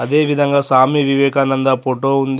అదేవిధంగా స్వామి వివేకానంద ఫోటో ఉంది.